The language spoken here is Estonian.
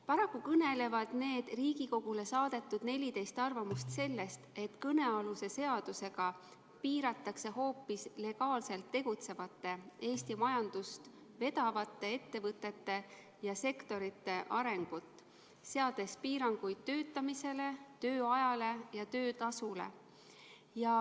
Paraku kõnelevad need Riigikogule saadetud 14 arvamust sellest, et kõnealuse eelnõuga tahetakse piirata hoopis legaalselt tegutsevate ja Eesti majandust vedavate ettevõtete ja sektorite arengut, seades piiranguid töötamisele, tööajale ja töötasule.